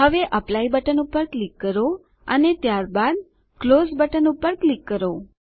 હવે apply button પર click કરો અને ત્યારબાદ ક્લોઝ બટન પર ક્લિક કરો